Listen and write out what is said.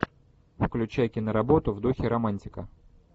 включай киноработу в духе романтика